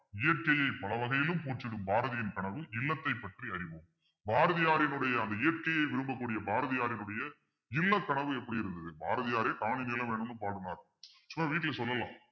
இயற்கையை பல வகையிலும் போற்றிடும் பாரதியின் கனவு இல்லத்தைப் பற்றி அறிவோம் பாரதியாரினுடைய அந்த இயற்கையை விரும்பக்கூடிய பாரதியாரினுடைய இல்ல கனவு எப்படி இருந்தது பாரதியாரே காணி நிலம் வேணும்ன்னு பாடினார் சும்மா வீட்டுல சொல்லலாம்